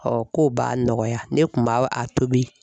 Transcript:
k'o b'a nɔgɔya ne kun ba a tobi.